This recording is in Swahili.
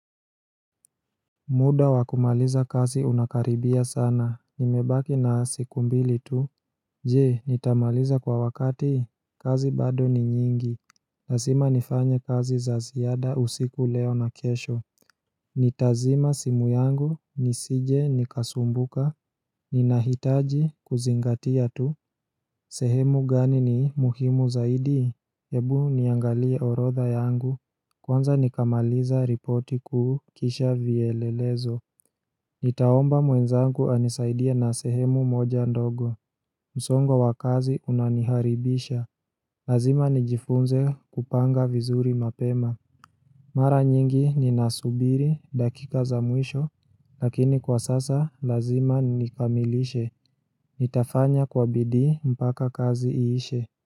Muda wa kumaliza kazi unakaribia sana, nimebaki na siku mbili tu Je, nitamaliza kwa wakati, kazi bado ni nyingi Lasima nifanye kazi za ziada usiku leo na kesho Nitazima simu yangu, nisije nikasumbuka, ninahitaji kuzingatia tu sehemu gani ni muhimu zaidi ebu niangalie orodha yangu Kwanza nikamaliza ripoti kuu kisha vielelezo Nitaomba mwenzangu anisaidie na sehemu moja ndogo. Msongo wa kazi unaniharibisha. Lazima nijifunze kupanga vizuri mapema. Mara nyingi ninasubiri dakika za mwisho, lakini kwa sasa lazima nikamilishe. Nitafanya kwa bidii mpaka kazi iishe.